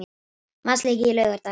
Vatnsleki í Laugardalshöll